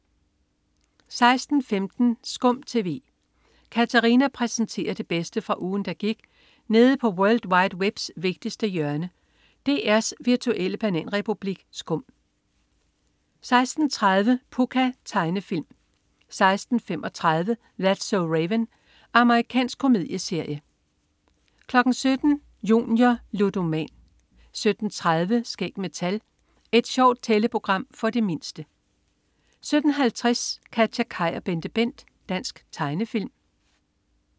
16.15 SKUM TV. Katarina præsenterer det bedste fra ugen, der gik nede på world wide webs vigtigste hjørne, DR's virtuelle bananrepublik SKUM 16.30 Pucca. Tegnefilm 16.35 That's so Raven. Amerikansk komedieserie 17.00 Junior. Ludoman 17.30 Skæg med tal. Et sjovt tælleprogram for de mindste 17.50 KatjaKaj og BenteBent. Dansk tegnefilm